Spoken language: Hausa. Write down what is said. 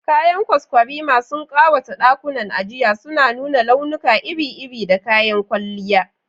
Kayan kwaskwarima sun ƙawata ɗakunan ajiya, suna nuna launuka iri-iri da kayan kwalliya.